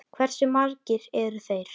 Hversu margir eru þeir?